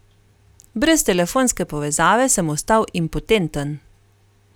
Brez telefonske povezave sem ostal impotenten.